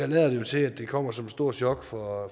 lader til at det kommer som et stort chok for